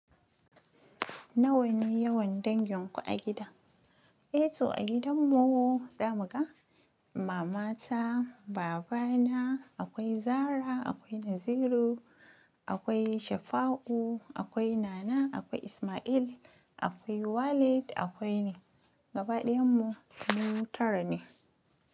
Nawa ne yawan dangin ku a gida? Eh toh a gidan mu tsaya muga mamata, babana, akwai Zara, akwai Naziru, akwai Shafa'u, akwai Nana, akwai Ismail, akwai Waleed, akwai ni gabaɗayan mu mu tara ne.